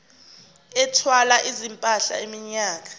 ethwala izimpahla iminyaka